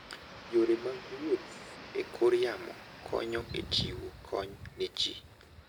Yore mag wuoth e kor yamo konyo e chiwo kony ne ji.